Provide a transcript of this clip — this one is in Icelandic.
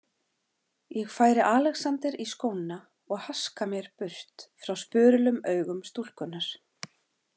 Ég færi Alexander í skóna og haska mér burt frá spurulum augum stúlkunnar.